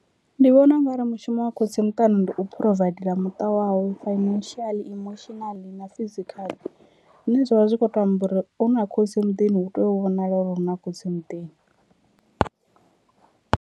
Ndi vhona ungari mushumo wa khotsi muṱani ndi u phurovaidela muṱa wawe financial, emotionally na physically, zwine zwa vha zwi kho to amba uri hu na khotsi muḓini hu tea u vhonala uri huna khotsi muḓini.